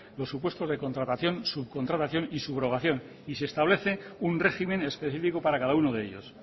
los supuestos de contratación subcontratación y subrogación y se establece un régimen específico para cada uno de ellos